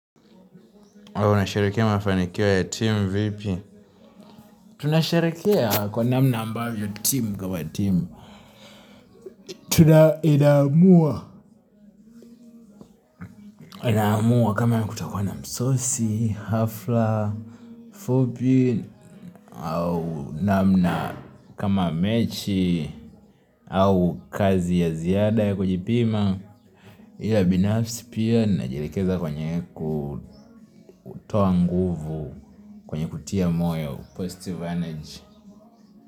Huwa unasherekea mafanikio ya timu vipi? Tunasherekea kwa namna ambavyo timu kwa timu. Tuna inaamua. Anaamua kama kutakuwa na msosi, hafla fupi au namna kama mechi, au kazi ya ziada ya kujipima. Ila binafsi pia najielekeza kwenye kutoa nguvu kwenye kutia moyo, postive energy.